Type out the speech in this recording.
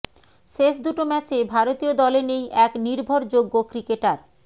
শেষ দুটো ম্যাচে ভারতীয় দলে নেই এক নির্ভরযোগ্য ক্রিকেটার